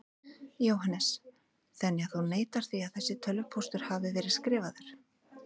Jóhannes: Þannig að þú neitar því að þessi tölvupóstur hafi verið skrifaður?